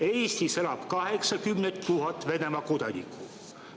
Eestis elab 80 000 Venemaa kodanikku.